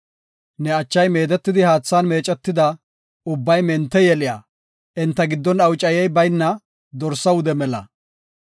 Ne achay meedetidi haathan meecetida, ubbay mente yeliya, enta giddon awucayey bayna dorsa wude mela.